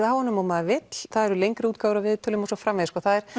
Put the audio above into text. af honum og maður vill það eru lengri útgáfur af viðtölum og svo framvegis